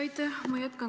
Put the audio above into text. Aitäh!